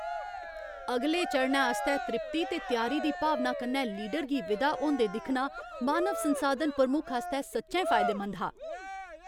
अगले चरणै आस्तै त्रिप्ती ते त्यारी दी भावना कन्नै लीडर गी विदा होंदे दिक्खना मानव संसाधन प्रमुख आस्तै सच्चैं फायदेमंद हा।